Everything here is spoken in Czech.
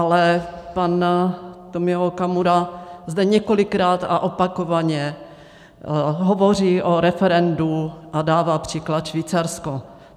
Ale pan Tomio Okamura zde několikrát a opakovaně hovoří o referendu a dává příklad Švýcarsko.